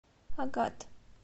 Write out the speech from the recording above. агат